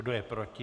Kdo je proti?